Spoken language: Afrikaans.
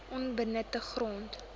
onbenutte grond